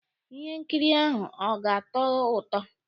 Ihe nkiri ahụ ọ ga-atọ ụtọ?